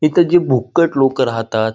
इथे जी भुक्कड लोक राहतात.